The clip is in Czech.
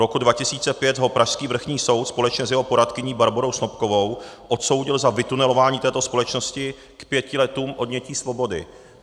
Roku 2005 ho pražský vrchní soud společně s jeho poradkyní Barborou Snopkovou odsoudil za vytunelování této společnosti k pěti letů odnětí svobody.